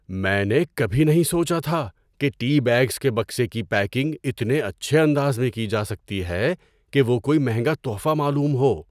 میں نے کبھی نہیں سوچا تھا کہ ٹی بیگز کے بکسے کی پیکنگ اتنے اچھے انداز میں جا سکتی ہے کہ وہ کوئی مہنگا تحفہ معلوم ہو۔